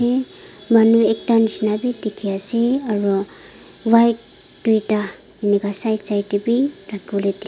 e manu ekta nisna be dikhi ase aru white dui ta enoka side side teh be rakhi bole dhik--